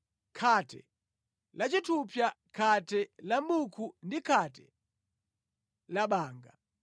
khate la chithupsa, khate la mʼbuko ndi khate la banga